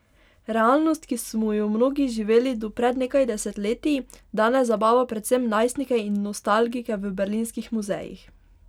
Realnost, ki smo jo mnogi živeli do pred nekaj desetletij, danes zabava predvsem najstnike in nostalgike v berlinskih muzejih.